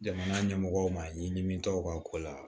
Jamana ɲɛmɔgɔw ma ye min tɛ u ka ko la